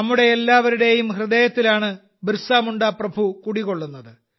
നമ്മുടെ എല്ലാവരുടെയും ഹൃദയത്തിലാണ് ബിർസ മുണ്ട പ്രഭു കുടികൊള്ളുന്നത്